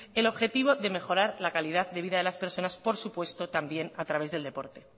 en el objetivo de mejorar la calidad de vida de las personas por supuesto también a través del deporte